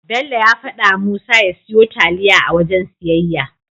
Bello ya fadawa Musa ya siyo taliya a wajen siyayya.